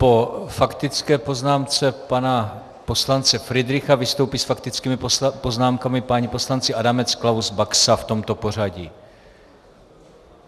Po faktické poznámce pana poslance Fridricha vystoupí s faktickými poznámkami páni poslanci Adamec, Klaus, Baxa - v tomto pořadí.